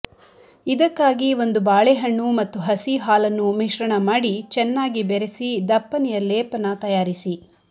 ಇದಕ್ಕಾಗಿ ಒಂದು ಬಾಳೆಹಣ್ಣು ಮತ್ತು ಹಸಿಹಾಲನ್ನು ಮಿಶ್ರಣ ಮಾಡಿ ಚೆನ್ನಾಗಿ ಬೆರೆಸಿ ದಪ್ಪನೆಯ ಲೇಪನ ತಯಾರಿಸಿ